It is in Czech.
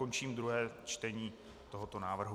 Končím druhé čtení tohoto návrhu.